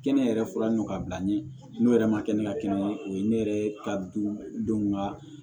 Kɛnɛ yɛrɛ fɔlɔ ɲɔ ka bila ɲɛ n'o yɛrɛ ma kɛ ne ka kɛnɛ ye o ye ne yɛrɛ ka du denw ka